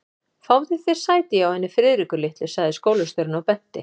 Fáðu þér sæti hjá henni Friðriku litlu sagði skólastjórinn og benti